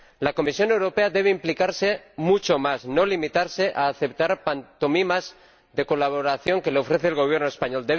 La Comisión Europea debe implicarse mucho más, no limitarse a aceptar pantomimas de colaboración que le ofrece el Gobierno español.